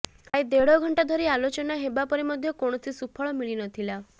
ପ୍ରାୟ ଦେଢ଼ ଘଣ୍ଟା ଧରି ଆଲୋଚନା ହେବା ପରେ ମଧ୍ୟ କୌଣସି ସୁଫଳ ମିଳି ନଥିଲା